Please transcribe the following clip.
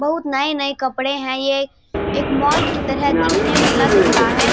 बहोत नए-नए कपडे हैं ये एक मॉल की तरह दिखने में लग रहा है।